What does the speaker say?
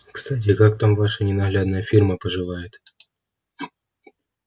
кстати как там ваша ненаглядная фирма поживает